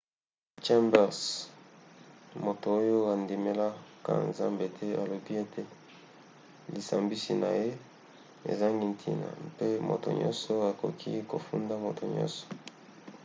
chambers moto oyo andimelaka nzambe te alobi ete lisambisi na ye ezangi ntina mpe moto nyonso akoki kofunda moto nyonso